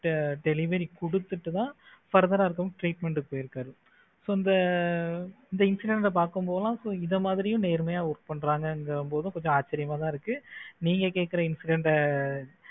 food delivery கொடுத்துட்டு தான் further ah treatment க்கு போய் இருக்காரு so இந்த incident பார்க்கும்போது தான் இந்த மாதிரியும் நேர்மையா work பண்றாங்க அப்படிங்கும் போது ஆச்சரியமா தான் இருக்கு. நீங்க கேக்குற incident ஆஹ்